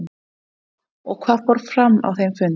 Lóa: Og hvað fór fram á þeim fundi?